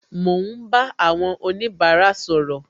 Mo ń bá àwọn onibara sọ̀rọ̀